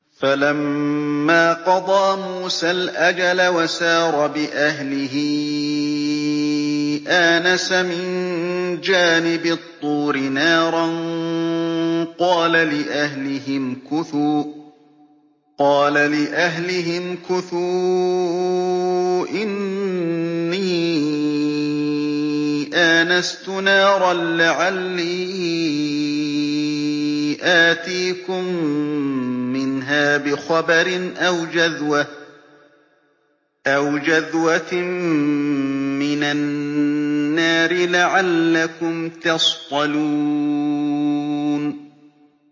۞ فَلَمَّا قَضَىٰ مُوسَى الْأَجَلَ وَسَارَ بِأَهْلِهِ آنَسَ مِن جَانِبِ الطُّورِ نَارًا قَالَ لِأَهْلِهِ امْكُثُوا إِنِّي آنَسْتُ نَارًا لَّعَلِّي آتِيكُم مِّنْهَا بِخَبَرٍ أَوْ جَذْوَةٍ مِّنَ النَّارِ لَعَلَّكُمْ تَصْطَلُونَ